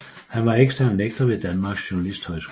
Han var ekstern lektor ved Danmarks Journalisthøjskole